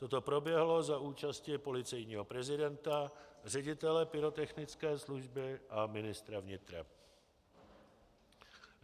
Toto proběhlo za účasti policejního prezidenta, ředitele pyrotechnické služby a ministra vnitra.